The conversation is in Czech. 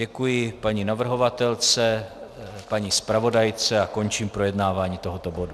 Děkuji paní navrhovatelce, paní zpravodajce a končím projednávání tohoto bodu.